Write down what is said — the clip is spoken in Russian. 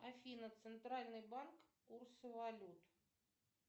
афина центральный банк курсы валют